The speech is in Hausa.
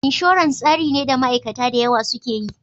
Insurance tsari ne da ma aikata dayawa suke yi